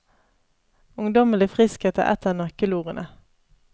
Ungdommelig friskhet er ett av nøkkelordene.